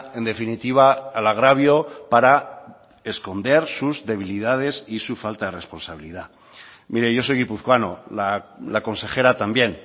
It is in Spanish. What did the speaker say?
en definitiva al agravio para esconder sus debilidades y su falta de responsabilidad mire yo soy guipuzcoano la consejera también